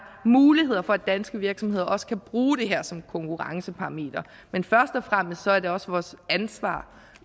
muligheder for at danske virksomheder også kan bruge det her som konkurrenceparameter men først og fremmest er det også vores ansvar